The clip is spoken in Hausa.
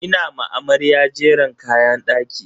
Ina ma amarya jeren kayan daki.